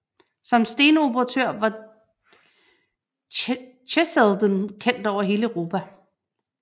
Som stenoperatør var Cheselden kendt over hele Europa